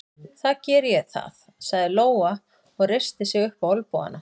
Þá geri ég það, sagði Lóa og reisti sig upp á olnbogana.